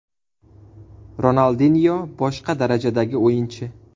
Ronaldinyo – boshqa darajadagi o‘yinchi.